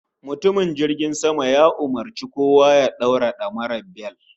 Matukin jirgin sama ya umurci kowa ya daura damara (bel)